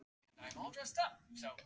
Ertu að biðla til svoleiðis fyrirtækja?